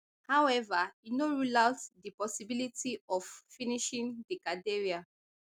however e no rule out di possibility of finishing di cathedral